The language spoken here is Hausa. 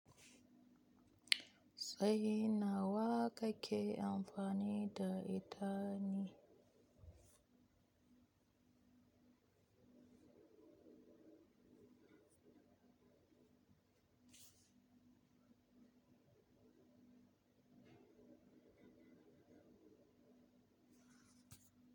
Sai nawa kake amfani da ita ne?